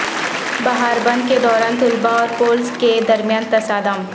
بہار بند کے دوران طلبا اور پولس کے درمیان تصادم